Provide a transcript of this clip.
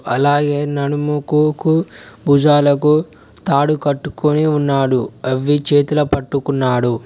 అలాగే నడుముకు భుజాలకు తాడు కట్టుకొని ఉన్నాడు అవి చేతుల పట్టుకున్నాడు.